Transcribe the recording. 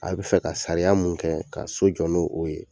A bɛ fɛ ka sariya mun kɛ ka so jɔ'n'o ye